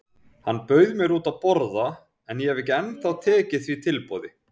Hann bauð mér út að borða en ég hef ekki ennþá tekið því tilboð.